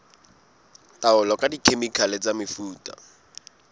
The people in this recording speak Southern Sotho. taolo ka dikhemikhale le mefuta